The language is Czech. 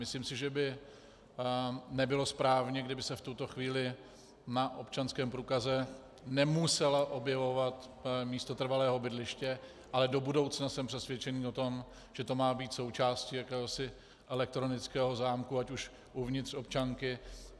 Myslím si, že by nebylo správné, kdyby se v tuto chvíli na občanském průkaze nemuselo objevovat místo trvalého bydliště, ale do budoucna jsem přesvědčený o tom, že to má být součástí jakéhosi elektronického zámku, ať už uvnitř občanky.